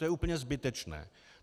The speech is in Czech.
To je úplně zbytečné.